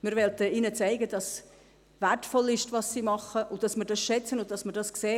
Wir möchten ihnen zeigen, dass das, was sie tun, wertvoll ist, und dass wir es schätzen und sehen.